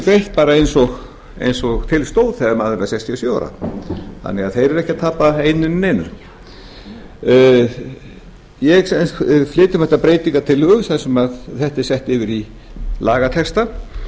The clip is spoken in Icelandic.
þeir fengju greitt eins og til stóð þegar maður var sextíu og sjö ára þannig að þeir eru ekki að tapa einu né neinu ég flyt um þetta breytingartillögu þar sem þetta er sett yfir í lagatexta